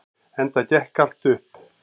Enda gekk allt upp.